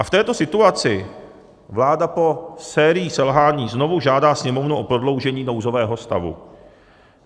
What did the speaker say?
A v této situaci vláda po sérii selhání znovu žádá Sněmovnu o prodloužení nouzového stavu.